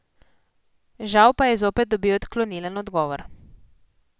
Žal pa je zopet dobil odklonilen odgovor.